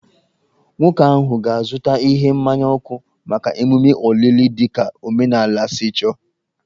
Nwoke ahụ ga-azụta ihe mmaya ọkụ maka ememe olili dị ka omenala si chọọ